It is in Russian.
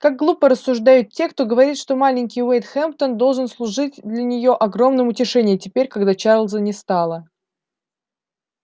как глупо рассуждают те кто говорит что маленький уэйд хэмптон должен служить для нее огромным утешением теперь когда чарлза не стало